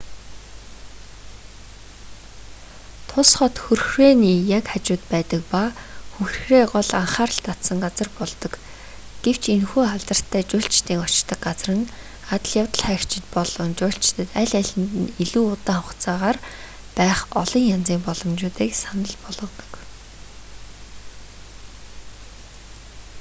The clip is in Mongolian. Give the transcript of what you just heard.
тус хот хүрхрээний яг хажууд байдаг ба хүрхрээ гол анхаарал татсан газар болдог гэвч энэхүү алдартай жуулчдын очдог газар нь адал явдаг хайгчид болон жуулчдад аль алинд нь илүү удаан хугацаагаар байх олон янзын боломжуудыг санал болгодог